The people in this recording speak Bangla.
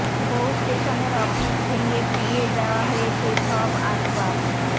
বহু স্টেশনের অফিস ভেঙে পুড়িয়ে দেওয়া হয়েছে সব আসবাব